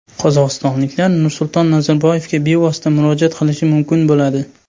Qozog‘istonliklar Nursulton Nazarboyevga bevosita murojaat qilishi mumkin bo‘ladi.